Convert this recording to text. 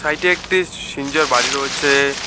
এটি একটি সিঞ্জর বাড়ি রয়েছে।